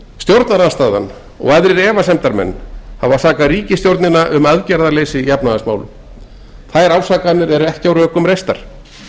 stjórnarandstaðan og aðrir efasemdamenn hafa sakað ríkisstjórnina um aðgerðaleysi í efnahagsmálum þær ásakanir eru ekki á rökum reistar